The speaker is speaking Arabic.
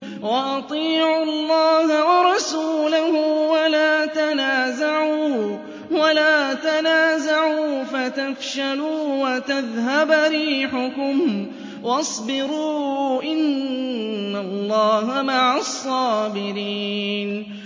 وَأَطِيعُوا اللَّهَ وَرَسُولَهُ وَلَا تَنَازَعُوا فَتَفْشَلُوا وَتَذْهَبَ رِيحُكُمْ ۖ وَاصْبِرُوا ۚ إِنَّ اللَّهَ مَعَ الصَّابِرِينَ